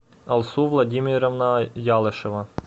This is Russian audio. алсу владимировна ялышева